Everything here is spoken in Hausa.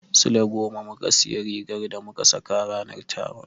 Sule goma muka sayi rigar da muka saka ranar taron.